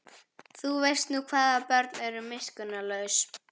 Þú veist nú hvað börn eru miskunnarlaus.